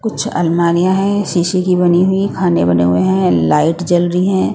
कुछ आलमारियां हैं शीशे की बनी हुई खाने बने हुए है लाइट जल रही हैं।